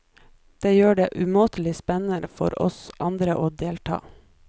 Det gjør det umåtelig spennende for oss andre og delta.